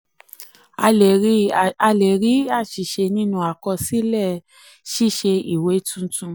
a lè rí àṣìṣe nínú àkọsílẹ ṣíṣe ìwé tuntun.